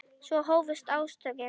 Svo hófust átökin.